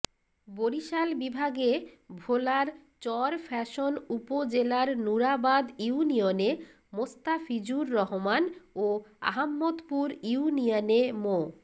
বরিশাল বিভাগে ভোলার চরফ্যাশন উপজেলার নুরাবাদ ইউনিয়নে মোস্তাফিজুর রহমান ও আহাম্মদপুর ইউনিয়নে মো